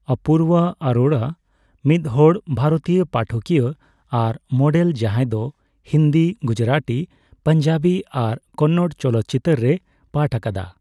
ᱚᱯᱩᱨᱵᱟ ᱟᱨᱳᱨᱟ ᱢᱤᱫᱦᱚᱲ ᱵᱷᱟᱨᱚᱛᱤᱭᱟᱹ ᱯᱟᱴᱷᱚᱠᱤᱭᱟᱹ ᱟᱨ ᱢᱚᱰᱮᱞ ᱡᱟᱦᱟᱸᱭ ᱫᱚ ᱦᱤᱱᱫᱤ, ᱜᱩᱡᱽᱨᱟᱹᱴᱤ, ᱯᱟᱧᱡᱟᱵᱤ ᱟᱨ ᱠᱚᱱᱱᱚᱲ ᱪᱚᱞᱚᱛᱪᱤᱛᱟᱹᱨ ᱨᱮᱭ ᱯᱟᱴᱷ ᱟᱠᱟᱫᱟ ᱾